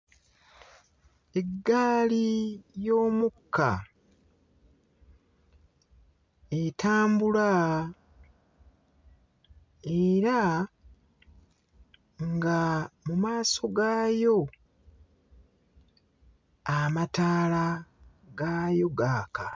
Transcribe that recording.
Eggaali y'omukka etambula era nga mmaaso gaayo amataala gaayo gaaka.